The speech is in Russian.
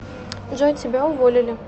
джой тебя уволили